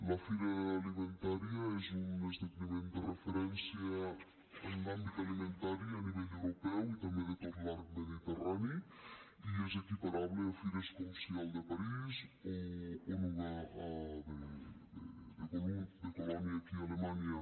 la fira alimentaria és un esdeveniment de referència en l’àmbit alimentari a nivell europeu i també de tot l’arc mediterrani i és equiparable a fires com sial de parís o anuga de colònia a alemanya